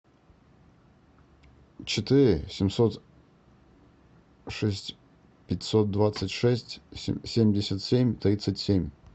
четыре семьсот шесть пятьсот двадцать шесть семьдесят семь тридцать семь